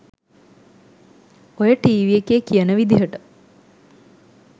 ඔය ටීවී එකේ කියන විදිහට